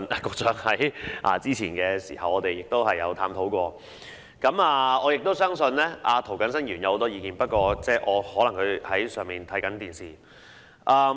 局長早前也與我們探討過，我相信涂謹申議員亦有很多意見，他可能在辦公室收看直播。